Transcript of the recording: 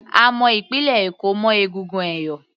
A mọ ìpínlẹ̀ Èkó mọ́ egungun ẹ̀yọ̀